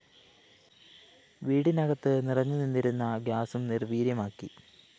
വീടിനകത്ത് നിറഞ്ഞുനിന്നിരുന്ന ഗ്യാസും നിര്‍വീര്യമാക്കി